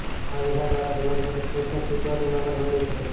આ વિઝા દ્વારા જીવનસાથી સોશિયલ સિક્યોરિટી નંબર મેળવી શકે છે